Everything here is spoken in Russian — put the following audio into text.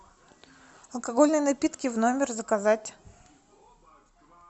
алкогольные напитки в номер заказать